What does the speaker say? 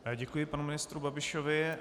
Děkuji panu ministru Babišovi.